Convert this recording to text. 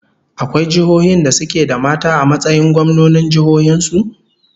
Akwai jiihohin da suke da mata a matsayin gwamnonin jihohin su?